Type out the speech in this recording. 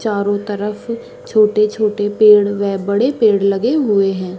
चारो तरफ छोटे-छोटे पेड़ व बड़े पेड़ लगे हुए है ।